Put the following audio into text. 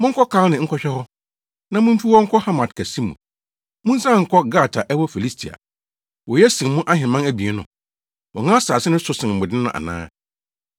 Monkɔ Kalne nkɔhwɛ hɔ. Na mumfi hɔ nkɔ Hamat kɛse mu, munsian nkɔ Gat a ɛwɔ Filistia. Woye sen mo ahemman abien no? Wɔn asase no so sen mo de no ana?